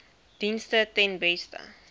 dienste ten beste